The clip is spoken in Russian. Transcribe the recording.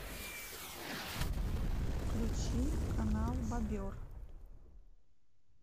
включи канал бобер